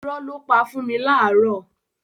Irọ́ ló pa fún mi láàárọ́.